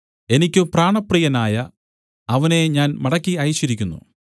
എനിക്ക് പ്രാണപ്രിയനായ അവനെ ഞാൻ മടക്കി അയച്ചിരിക്കുന്നു